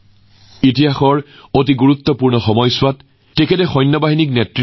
ইতিহাসৰ এক গুৰুত্বপূৰ্ণ সময়ছোৱাত আমাৰ সেনাবাহিনীক নেতৃত্ব দি তেওঁ সাহস আৰু বীৰত্বৰ নিদৰ্শন দাঙি ধৰিছিল